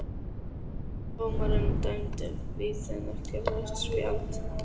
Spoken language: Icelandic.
Dómarinn dæmdi víti en ekkert rautt spjald?